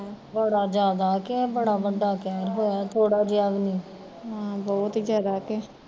ਬੜਾ ਜਿਆਦਾ ਕਿ ਬੜਾ ਵੱਡਾ ਕਹਿਰ ਹੋਇਆ ਥੋੜਾ ਜਿਹਾ ਵੀ ਨੀ